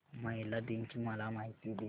महिला दिन ची मला माहिती दे